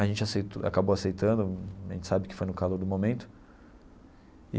A gente aceitou acabou aceitando, a gente sabe que foi no calor do momento.